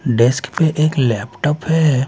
Desk पे एक laptop हैं।